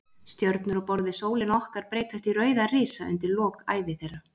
Stjörnur á borð við sólina okkar breytast í rauða risa undir lok ævi þeirra.